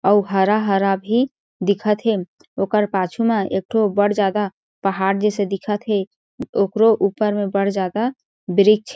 अउ हरा-हरा भी दिखत हे ओकर पाछु मा एक ठो बढ़ जादा पहाड़ जइसे दिखत हे ओकरो ऊपर में बढ़ जादा वृक्ष--